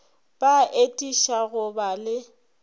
ba atiša go ba le